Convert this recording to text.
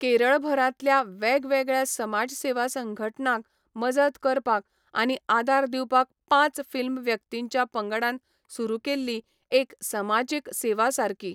केरळभरांतल्या वेगवेगळ्या समाजसेवा संघटनांक मजत करपाक आनी आदार दिवपाक पांच फिल्म व्यक्तींच्या पंगडान सुरू केल्ली एक समाजीक सेवा सारकी.